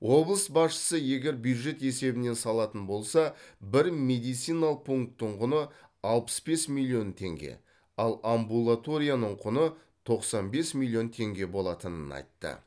облыс басшысы егер бюджет есебінен салатын болса бір медициналық пунктің құны алпыс бес миллион теңге ал амбулаторияның құны тоқсан бес миллион теңге болатынын айтты